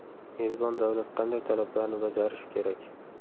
Mezbon davlat qanday talablarni bajarishi kerak?.